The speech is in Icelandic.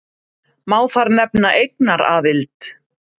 Má þar nefna eignaraðild.